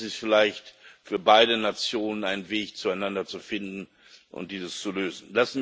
Das ist vielleicht für beide Nationen ein Weg, zueinander zu finden und dies zu lösen.